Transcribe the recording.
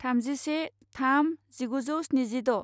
थामजिसे थाम जिगुजौ स्निजिद'